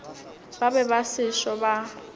ba be ba sešo ba